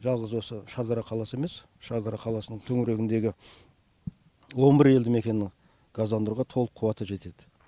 жалғыз осы шардара қаласы емес шардара қаласының төңірегіндегі он бір елді мекеннің газдандыруға толық қуаты жетеді